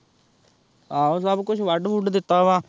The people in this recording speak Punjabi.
ਆਹੋ ਸਭ ਕੁੱਛ ਵੱਢ-ਵੁੱਡ ਦਿੱਤਾ ਵਾ।